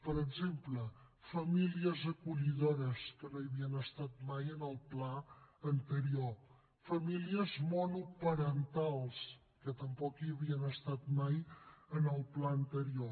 per exemple famílies acollidores que no hi havien estat mai en el pla anterior famílies monoparentals que tampoc hi havien estat mai en el pla anterior